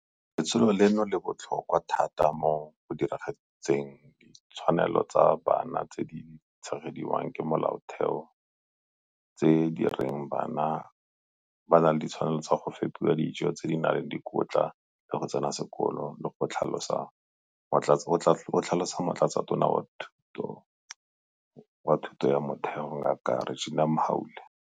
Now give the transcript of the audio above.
Letsholo leno le botlhokwa thata mo go diragatseng ditshwanelo tsa bana tse di tshegediwang ke Molaotheo tse di reng ba na le ditshwanelo tsa go fepiwa ka dijo tse di nang le dikotla le go tsena sekolo, go tlhalosa Motlatsatona wa Lefapha la Thuto ya Motheo, DBE, Ngaka Reginah Mhaule.